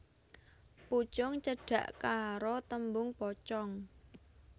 Pucung cedhak karo tembung pocong